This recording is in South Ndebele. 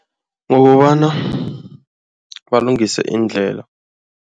Ngokobana balungise iindlela.